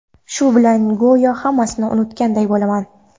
Shu bilan go‘yo hammasini unutganday bo‘laman.